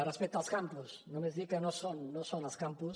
respecte als campus només dir que no són els campus